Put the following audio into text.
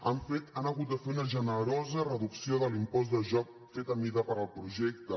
han fet han hagut de fer una generosa reducció de l’impost de joc feta a mida per al projecte